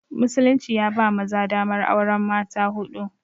Musulunci ya ba maza damar auren mata huɗu